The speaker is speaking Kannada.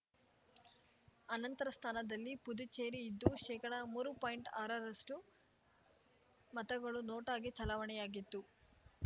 ಅನಂತರ ಸ್ಥಾನದಲ್ಲಿ ಪುದುಚೇರಿ ಇದ್ದು ಶೇಕಡಮೂರು ಪಾಯಿಂಟ್ಆರರಷ್ಟುಮತಗಳು ನೋಟಾಗೆ ಚಲಾವಣೆಯಾಗಿತ್ತು